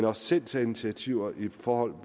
også selv tage initiativer i forhold